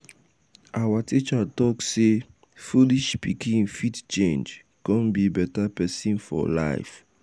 our teacher talk say foolish pikin fit change come be better pesin for life.